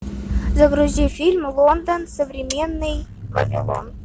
загрузи фильм лондон современный вавилон